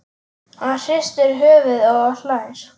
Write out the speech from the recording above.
Hann hristir höfuðið og hlær.